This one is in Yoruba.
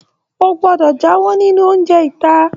O gbọdọ jáwọ nínú oúnjẹ ita.